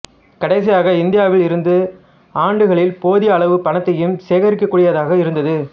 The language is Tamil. கடைசியாக இந்தியாவில் இருந்த ஆண்டுகளில் போதிய அளவு பணத்தையும் சேர்க்கக்கூடியதாக இருந்தது